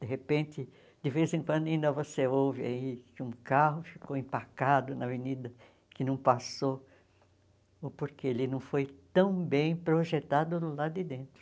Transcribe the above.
De repente, de vez em quando, ainda você ouve aí que um carro ficou empacado na avenida, que não passou, ou porque ele não foi tão bem projetado do lado de dentro.